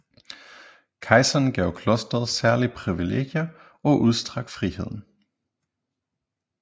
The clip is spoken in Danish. Kejseren gav klosteret særlige privilegier og udstrakt frihed